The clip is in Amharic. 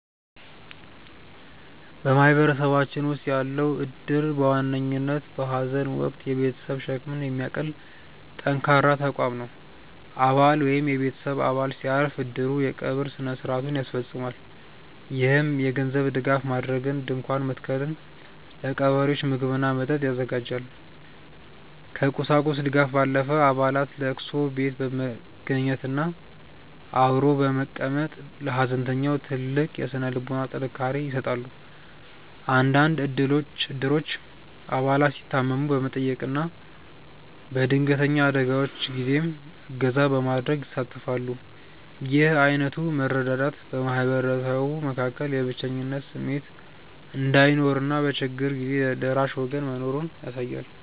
በማህበረሰባችን ውስጥ ያለው እድር በዋነኝነት በሐዘን ወቅት የቤተሰብን ሸክም የሚያቀል ጠንካራ ተቋም ነው። አባል ወይም የቤተሰብ አባል ሲያርፍ፣ እድሩ የቀብር ሥነ ሥርዓቱን ያስፈፅማል። ይህም የገንዘብ ድጋፍ ማድረግን፣ ድንኳን መትከልን፣ ለቀባሪዎች ምግብና መጠጥ ያዘጋጃል። ከቁሳቁስ ድጋፍ ባለፈ፣ አባላት ለቅሶ ቤት በመገኘትና አብሮ በመቀመጥ ለሐዘንተኛው ትልቅ የሥነ ልቦና ጥንካሬ ይሰጣሉ። አንዳንድ እድሮች አባላት ሲታመሙ በመጠየቅና በድንገተኛ አደጋዎች ጊዜም እገዛ በማድረግ ይሳተፋሉ። ይህ ዓይነቱ መረዳዳት በማህበረሰቡ መካከል የብቸኝነት ስሜት እንዳይኖርና በችግር ጊዜ ደራሽ ወገን መኖሩን ያሳያል።